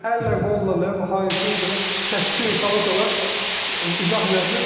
Əllə qolla, nə bilim, hayhuy, belə səsküy sala-sala izah elədim.